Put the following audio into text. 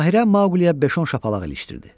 Bahirə Maqliyə beş-on şapalaq ilişdirdi.